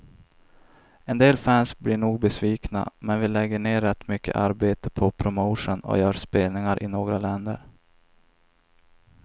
En del fans blir nog besvikna, men vi lägger ner rätt mycket arbete på promotion och gör spelningar i några länder.